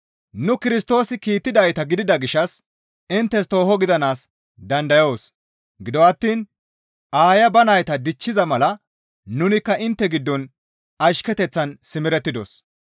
Nu Kirstoosi kiittidayta gidida gishshas inttes tooho gidanaas dandayoos; gido attiin aaya ba nayta dichchiza mala nunikka intte giddon ashketeththan simerettidos.